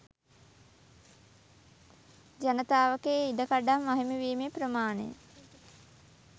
ජනතාවගේ ඉඩකඩම් අහිමි වීමේ ප්‍රමාණය